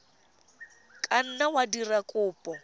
ka nna wa dira kopo